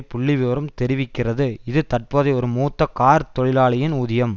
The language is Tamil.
புள்ளிவிவரம் தெரிவிக்கிறது இது தற்பொழுதைய ஒரு மூத்த கார்த் தொழிலாளியின் ஊதியம்